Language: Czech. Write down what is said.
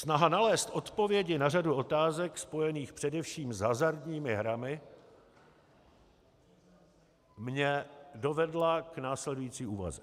Snaha nalézt odpovědi na řadu otázek spojených především s hazardními hrami mě dovedla k následující úvaze: